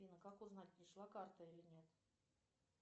афина как узнать пришла карта или нет